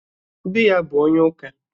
Dị ya bụ onye ụka.